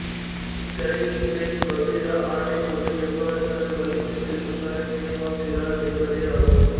இக்கதை Beatrice Biira ஆட்டை கொண்டு எவ்வாறு தனது பள்ளிக்கு செல்லும் கனவை நினைவாக்குகிறாள் என்பதே ஆகும்